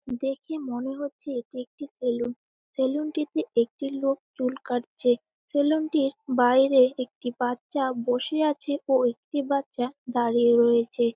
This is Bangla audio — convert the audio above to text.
দেখে মনে হচ্ছে এটি একটি সেলুন সেলুন -টিতে একটি লোক চুল কাটছে সেলুন -টির বাইরে একটি বাচ্চা বসে আছে ও একটি বাচ্চা দাঁড়িয়ে রয়েছে।